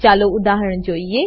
ચાલો ઉદાહરણ જોઈએ